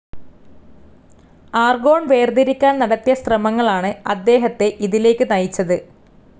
Argon വേർതിരിക്കാൻ നടത്തിയ ശ്രമങ്ങളാണ് അദ്ദേഹത്തെ ഇതിലേക്ക് നയിച്ചത്.